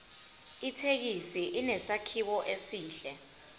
ithekisi inesakhiwo esihle